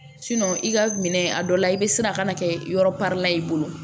i ka minɛ a dɔ la i bɛ siran a kana kɛ yɔrɔ la i bolo